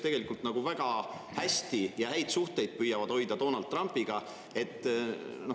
Nemad püüavad tegelikult hoida väga häid suhteid Donald Trumpiga.